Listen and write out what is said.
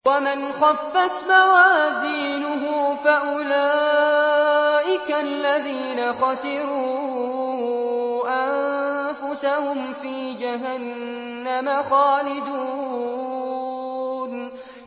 وَمَنْ خَفَّتْ مَوَازِينُهُ فَأُولَٰئِكَ الَّذِينَ خَسِرُوا أَنفُسَهُمْ فِي جَهَنَّمَ خَالِدُونَ